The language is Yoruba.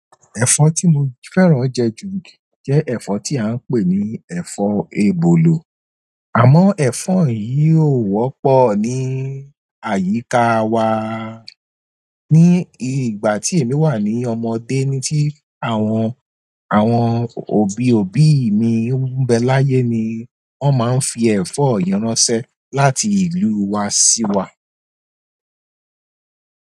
Ẹ̀fọ́ tí mo fẹ́ràn jẹ jù jẹ́ ẹ̀fọ́ tí a ń pè ní ẹ̀fọ́ ebolo. Àmọ́ ẹ̀fọ́ yìí ò wọ́pọ̀ ní àyíká wa. Ní ìgbà tí èmi wà ní ọmọdé ni tí àwọn, àwọn òbí-òbí mi n bẹ láyé ni wọ́n máa ń fi ẹ̀fọ́ yi ránṣẹ́ láti ìlú wa sí wa.